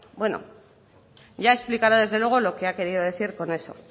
bueno ya explicará desde luego lo que ha querido decir con eso